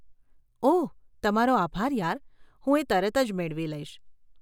ઓહ તમારો આભાર યાર, હું એ તરત જ મેળવી લઈશ.